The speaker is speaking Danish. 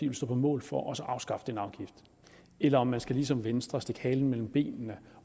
vil stå på mål for også at afskaffe den afgift eller om man ligesom venstre vil stikke halen mellem benene